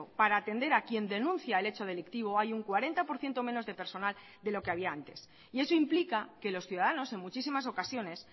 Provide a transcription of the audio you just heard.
para atender a quien denuncia el hecho delictivo hay un cuarenta por ciento menos de personal de lo que había antes y eso implica que los ciudadanos en muchísimas ocasiones